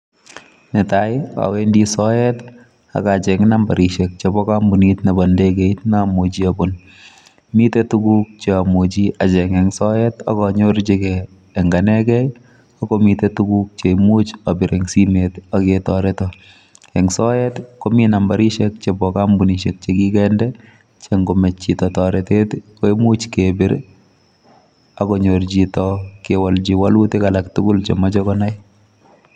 Netai awendi soet akacheng' nambarit ebo ndegeit mouche obun. Miten tuguk chomuchi acheng' en soet akanyorchigei en anegei akomitei tuguk cheimuch abir en simoit aketoreton. En soet komi nambarisiek chebo kampunisiek chekikinde chengomach chito toretet koimuch kebir akonyor chito walutik alak tugul chemoche konai.